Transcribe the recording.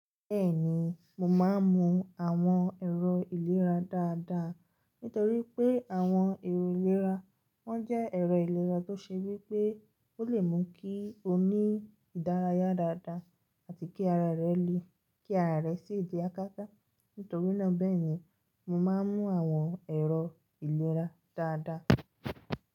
Bẹ́ẹ̀ni, mo máa ń mu àwọn ẹ̀rọ ìlera dáadáa, nítorí pé àwọn ẹ̀rọ ìlera wọ́n jẹ́ ẹ̀rọ ìlera tó ṣe wípé ó lè mú kí o ní ìdárayá dáadáa àti kí ara rẹ le, kí ara rẹ sì jẹ́ akata. Nítorí náà bẹ́ẹ̀ni mo máa ń mu àwọn ẹ̀rọ ìlera dáadáa.